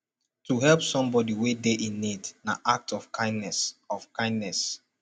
to help somebody wey de in need na act of kindness of kindness